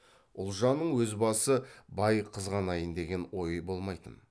ұлжанның өз басы бай қызғанайын деген ойы болмайтын